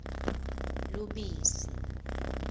lubisi